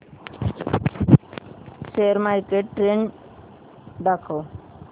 share market trend दाखव